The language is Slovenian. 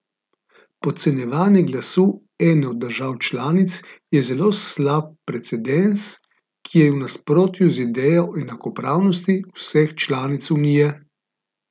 Podcenjevanje glasu ene od držav članic je zelo slab precedens, ki je v nasprotju z idejo enakopravnosti vseh članic unije.